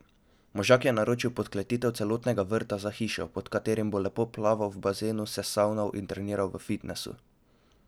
Možak je naročil podkletitev celotnega vrta za hišo, pod katerim bo lepo plaval v bazenu, se savnal in treniral v fitnesu.